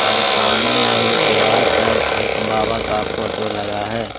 और सामने में ही दीवार पर एक बाबा का फोटो लगा है।